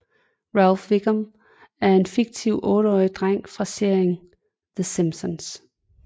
Ralph Wiggum er en fiktiv otteårig dreng fra serien The Simpsons